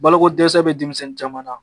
Baloko dɛsɛ bɛ denmisɛnnin caman na!